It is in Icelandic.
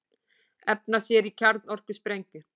Efna sér í kjarnorkusprengju